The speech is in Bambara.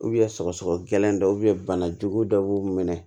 sɔgɔsɔgɔ gɛlɛnin dɔ bana jugu dɔ b'u minɛ